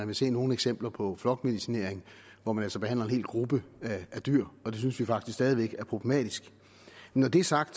vil se nogle eksempler på flokmedicinering hvor man altså behandler en hel gruppe dyr det synes vi faktisk stadig væk er problematisk når det er sagt